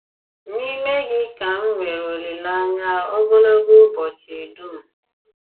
N'ime gị kà m nwere olìlèanyà ògòlògò ùbọ̀chị d̀ùm.